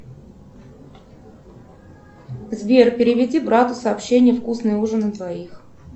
сбер переведи брату сообщение вкусный ужин на двоих